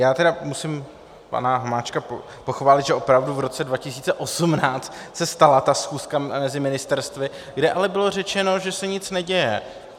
Já tedy musím pana Hamáčka pochválit, že opravdu v roce 2018 se stala ta schůzka mezi ministerstvy, kde ale bylo řečeno, že se nic neděje.